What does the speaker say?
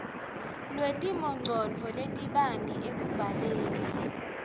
lwetimongcondvo letibanti ekubhaleni